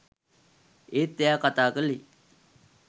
ඒත් එයා කතා කළේ